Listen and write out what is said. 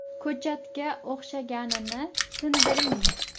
Ko‘chatga o‘xshaganini sindiring.